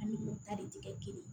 An ni o ta de ti kɛ kelen ye